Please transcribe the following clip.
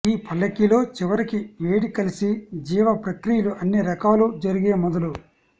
ఈ పల్లకిలో చివరికి వేడి కలిసి జీవ ప్రక్రియల అన్ని రకాల జరిగే మొదలు